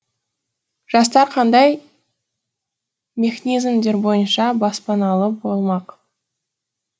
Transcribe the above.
жастар қандай мехнизмдер бойынша баспаналы болмақ